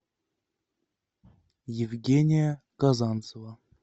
евгения казанцева